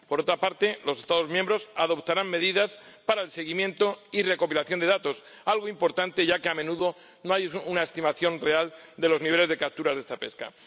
Por otra parte, los Estados miembros adoptarán medidas para el seguimiento y recopilación de datos, algo importante, ya que a menudo no hay una estimación real de los niveles de capturas de esta pesca.